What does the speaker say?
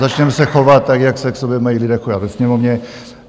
Začněme se chovat tak, jak se k sobě mají lidé chovat ve Sněmovně.